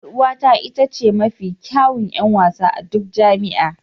Yar'uwata ita ce mafi kyawun 'yan wasa a duk jami'a